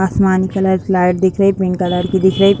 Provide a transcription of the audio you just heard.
आसमानी कलर की लाइट दिख रही पिंक कलर की दिख रही।